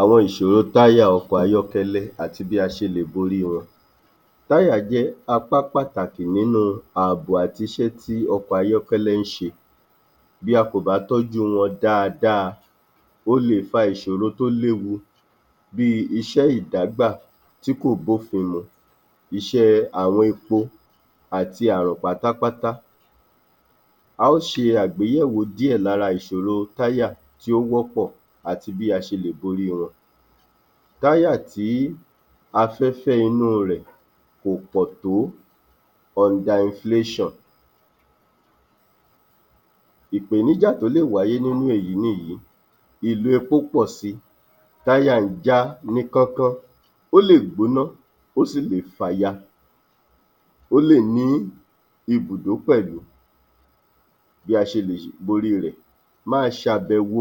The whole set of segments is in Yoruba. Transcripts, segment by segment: Àwọn ìṣòro táyà ọkọ̀ ayọ́kẹ́lẹ́ àti bí a ṣe lè borí wọn. Táyà jẹ́ apá pàtàkì nínú àbò àti iṣẹ́ tí ọkọ̀ ayọ́kẹ́lẹ́ ń ṣe. Bí a kò bá tọ́jú wọn dáadáa ó lè fa ìṣòrò tó léwu bí iṣẹ́ ìbágbà tí kò bófin mu, iṣẹ́ àwọn epo àti àrọ̀ pátápátá, a ó ṣe àgbéyẹ̀wò díẹ̀ lára ìṣòrò táyà tí ó wọ́pọ̀ àti bí a ṣe lè borí wọn. Táyà tí afẹ́fẹ́ inú rẹ̀ kò pọ̀ tó under inflation, ìpèníjà tí ó lè wáyé nínú èyí nìyí ìlò epo ń pọ̀ si, táyà ń já níkánkán, ó lè gbóná ó sì lè fàya, ó lè ní ibùdó pẹ̀lú. Bí a ṣe lè borí rẹ̀, máa ṣe àbèwò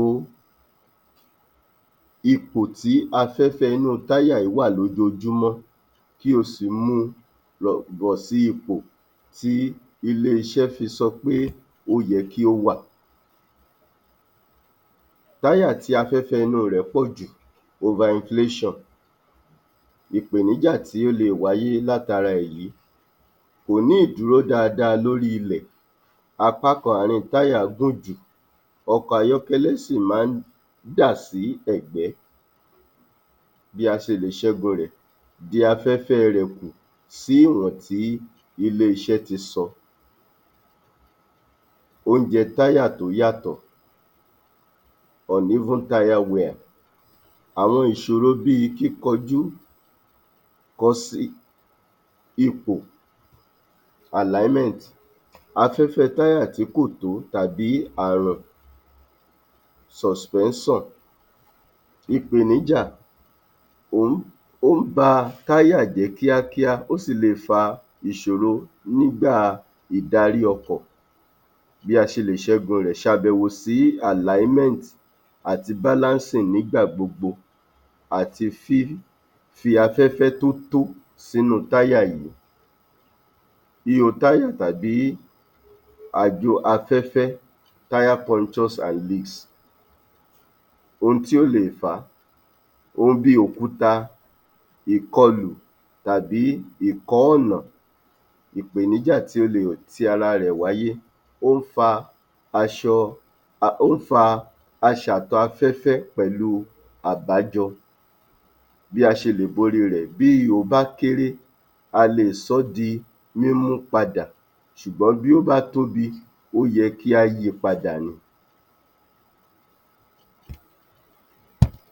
ipò tí afẹ́fẹ́ inú táyà yìí wà lójoojúmọ́, kí o sì mu bọ̀ sí ipò, tí ileeṣẹ́ fi sọ pé ó yẹ kí ó wà. Táyà tí afẹ́fẹ́ inú rẹ̀ pọ̀ jù over inflation, ìpèníjà tí ó lè wáyé láti ara èyí, kò ní lè dúró dáadáa ní orí ilẹ̀, apá kan àárín táyà gùn jù, ọkọ̀ ayọ́kẹ́lẹ́ sì máa ń dà sí ẹ̀gbẹ́ bí a ṣe lè ṣẹ́gun rẹ̀; dín afẹ́fẹ́ rẹ̀ kù, sí ìrántí iléeṣẹ́ ti sọ, ounjẹ táyà tó yàtọ̀ uneven tire wear. Àwọn ìṣòro bí i kíkọjú kọsi ipò alignment, afẹ́fẹ́ táyà tí kò tó tàbí àràn suspension, ìpèníjà, ó ń ba táyà jẹ́ kíákíá, ó sì lè fa ìṣòro nígbà ìdarí ọkọ̀, bí a ṣe lè ṣẹ́gun rẹ̀; ṣe àbẹ̀wò sí alignment àti balancing nígbà gbogbo àti fífi afẹ́fẹ́ tí ó tó sí inú táyà yìí, ihò táyà tàbí ajò aféfẹ́ tire pointus and leaps ohun tí ó le è fàá ohun bí i òkúta, ìkọlù tàbí ìkọ́ọ̀nà, ìpèníjà tí ó le è ti ara rẹ̀ wáyé, ó ń fa aṣàtọ̀ afẹ́fẹ́ pẹ̀lú àbájọ bí a ṣe lè borí i rẹ̀ bí ihò bá kéré a lè sọ́ di mímú padà ṣùgbọ́n bí ó bá tóbi ó yẹ kí a yi padà ni.